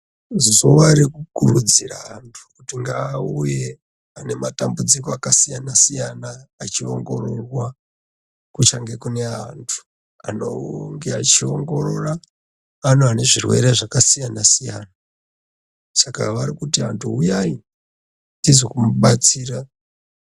Zuwa rekukurudzire antu kuti ngaauye ane matambudziko asiyana siyana achiongirorwa kuchange kune antu anenge avgiongirora pane anezvirwere zvakasiyana siyana saka vari kuti vantu uyai tizomubatsira.